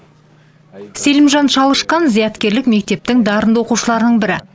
селимжан чалышкан зияткерлік мектептің дарынды оқушыларының бірі